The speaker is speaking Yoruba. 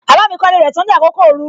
Baba mi kọ ilé rẹ tán ní àkókò ooru.